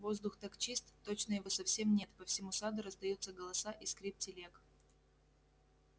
воздух так чист точно его совсем нет по всему саду раздаются голоса и скрип телег